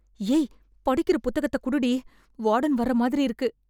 ஏய்... படிக்கற புத்தகத்தை குடுடி... வார்டன் வர்ற மாதிரி இருக்கு...